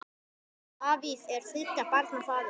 Davíð er þriggja barna faðir.